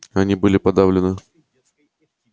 они были подавлены